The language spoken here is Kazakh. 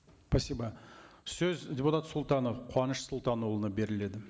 спасибо сөз депутат сұлтанов қуаныш сұлтанұлына беріледі